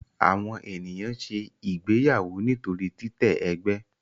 Àwọn ènìyàn ṣe ìgbéyàwó nítorí titẹ ègbé.